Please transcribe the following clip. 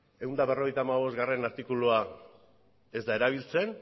ehun eta berrogeita hamabostgarrena artikulua ez da erabiltzen